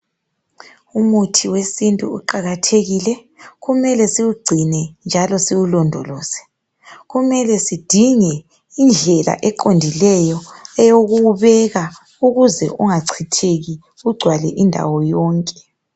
Umuthi wesintu uqakathekile, kumele siwugcine njalo siwulondoloze. Kumele sidinge indlela eqondileyo eyokuwubeka ukuze ungachitheki ugcwale indawo yonke.